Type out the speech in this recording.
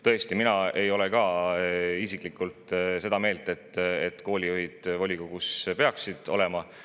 Tõesti, mina ei ole ka isiklikult seda meelt, et koolijuhid peaksid volikogus olema.